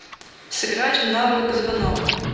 сыграть в навык звонок